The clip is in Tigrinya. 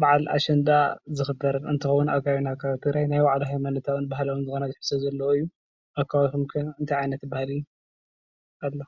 በዓል አሸንዳ ዝክበር እንትኸውን ፤ ኣብ ከባቢና ካብ ናይ ትግራይ ናይ ባዕሉ ሃይማኖታዊን ባህላዊን ዝኾነ ትሕዝቶ ዘለዎ እዩ፡፡ ኣብ ከባቢኩም ኸ እንታይ ዓይነት ባህሊ አሎ?